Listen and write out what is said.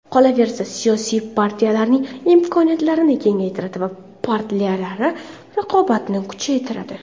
Qolaversa, siyosiy partiyalarning imkoniyatlarini kengaytiradi va partiyalararo raqobatni kuchaytiradi.